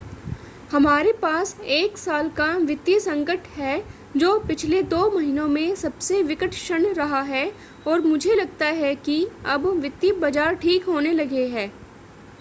हमारे पास एक साल का वित्तीय संकट है, जो पिछले दो महीनों में सबसे विकट क्षण रहा है और मुझे लगता है कि अब वित्तीय बाज़ार ठीक होने लगे हैं.